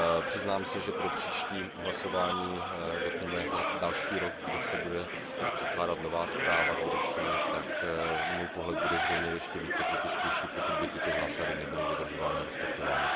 Přiznám se, že pro příští hlasování, řekněme za další rok, kdy se bude předkládat nová výroční zpráva, tak můj pohled bude zřejmě ještě více kritičtější, pokud by tyto zásady nebyly dodržovány a respektovány.